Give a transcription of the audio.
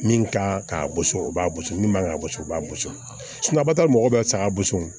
Min ka kan ka bɔ so o b'a gosi min man kan ka bɔ so o b'a gosi mɔgɔ bɛ saga bɔ o